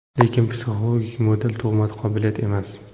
Lekin psixologik model tug‘ma qobiliyat emas.